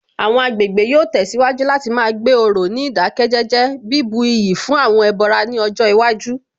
Àwọn agbègbè yóò tẹ̀síwájú láti má gbé òrò ní ìdákẹ́jẹ́jẹ́, bíbu iyì fún àwọn ẹbọra ní ọjọ́ iwájú